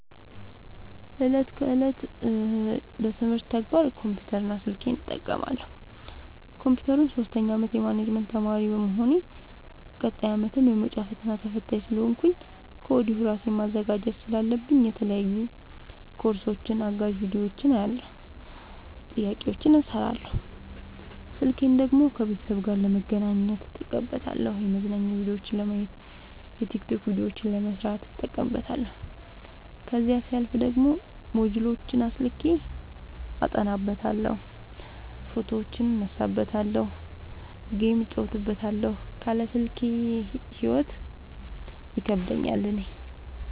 እለት ከእለት ለትምህርት ተግባር ኮምፒውተር እና ስልኬን እጠቀማለሁ። ኮንፒውተሩን ሶስተኛ አመት የማኔጅመት ተማሪ በመሆኔ ቀጣይ አመትም የመውጫ ፈተና ተፈታኝ ስለሆንኩኝ ከወዲሁ እራሴን ማዘጋጀት ስላለብኝ የተለያዩ ኮርሶችን አጋዝ ቢዲዮዎችን አያለሁ። ጥያቄዎችን እሰራለሁ። ስልኬን ደግሞ ከቤተሰብ ጋር ለመገናኘት እጠቀምበታለሁ የመዝናኛ ቭዲዮዎችን ለማየት። የቲክቶክ ቪዲዮዎችን ለመስራት እጠቀምበታለሁ። ከዛሲያልፍ ደግሞ ሞጅልዎችን አስልኬ አጠናበታለሁ። ፎቶዎችን እነሳበታለሀለ። ጌም እጫወትበታለሁ ካለ ስልኬ ሂይወት ይከብደኛል እኔ።